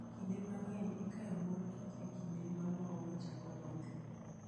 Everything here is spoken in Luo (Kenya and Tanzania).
Kinde mang'eny, ikayo mor kich e kinde ma maua chako lothie.